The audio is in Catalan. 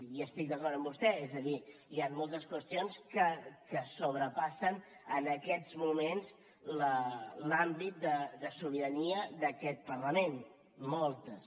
i estic d’acord amb vostè és a dir hi han moltes qüestions que sobrepassen en aquests moments l’àmbit de sobirania d’aquest parlament moltes